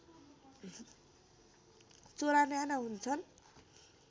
चोला न्याना हुन्छन्